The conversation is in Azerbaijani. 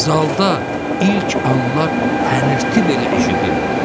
Zalda ilk anlar hənirti belə eşidilmirdi.